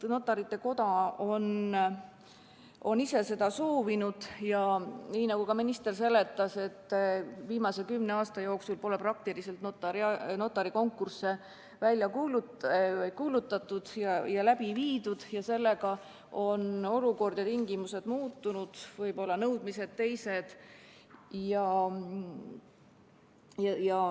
Notarite Koda on ise seda soovinud ning, nii nagu ka minister seletas, viimase kümne aasta jooksul pole praktiliselt notari konkursse välja kuulutatud ja läbi viidud, sellega on olukord ja tingimused muutunud, võib-olla on nõudmised teised.